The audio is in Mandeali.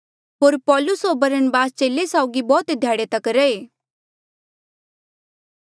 होर पाैलुस होर बरनबास चेले साउगी बौह्त ध्याड़े तक रैहे